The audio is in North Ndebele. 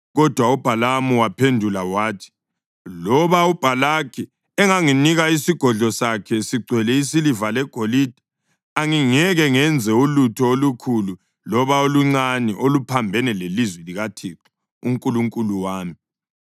Kodwa uBhalamu wabaphendula wathi, “Loba uBhalaki enganginika isigodlo sakhe sigcwele isiliva legolide, angingeke ngenze ulutho olukhulu loba oluncane oluphambene lelizwi likaThixo uNkulunkulu wami.